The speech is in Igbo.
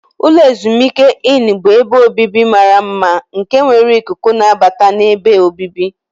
Ulo ezimuike Inni bụ ebe obibi mara mma nke nwere ikuku nnabata na ebe obibi.